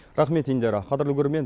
рақмет индира қадірлі көрермен